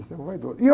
vaidoso, e eu